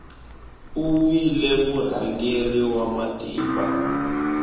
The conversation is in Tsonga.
u vile murhangeri wa matimba